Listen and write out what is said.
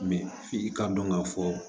f'i k'a dɔn k'a fɔ